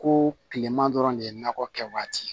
Ko kilema dɔrɔn de ye nakɔ kɛ waati